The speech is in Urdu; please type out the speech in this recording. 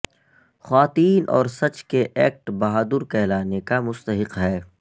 خواتین اور سچ کے ایکٹ بہادر کہلانے کا مستحق ہے